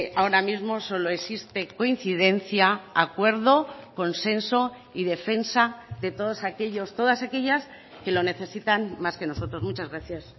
ahora mismo solo existe coincidencia acuerdo consenso y defensa de todos aquellos todas aquellas que lo necesitan más que nosotros muchas gracias